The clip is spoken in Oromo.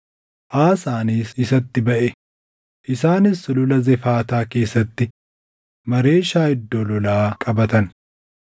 Aasaanis isatti baʼe; isaanis Sulula Zefaataa keessatti Maareeshaa iddoo lolaa qabatan.